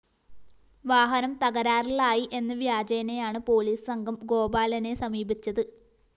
വാഹനം തകരാറിലായി എന്ന വ്യാജേനേയാണ് പോലീസ് സംഘം ഗോപാലനെ സമീപിച്ചത്